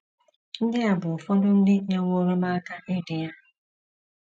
Ndị a bụ ụfọdụ ndị nyewooro m aka idi ya: